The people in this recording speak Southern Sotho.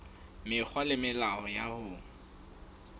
mekgwa le melao ya ho